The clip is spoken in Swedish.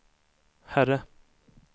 herre